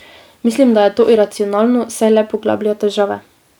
Mislim, da je to iracionalno, saj le poglablja težave.